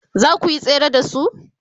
zakuyi tsere da su?